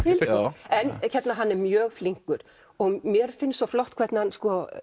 til en hann er mjög flinkur mér finnst svo flott hvernig hann